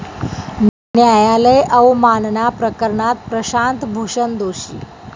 न्यायालय अवमानना प्रकरणात प्रशांत भूषण दोषी